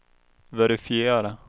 verifiera